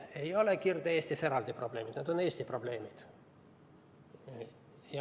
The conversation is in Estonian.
Aga ei ole Kirde-Eestis eraldi probleemid, need on Eesti probleemid.